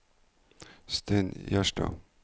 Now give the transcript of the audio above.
Stein Gjerstad